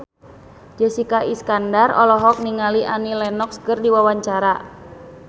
Jessica Iskandar olohok ningali Annie Lenox keur diwawancara